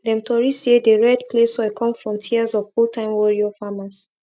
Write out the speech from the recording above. dem tori say the red clay soil come from tears of oldtime warrior farmers